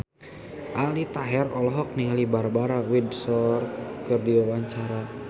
Aldi Taher olohok ningali Barbara Windsor keur diwawancara